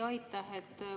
Jaa, aitäh!